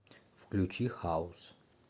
включи хаус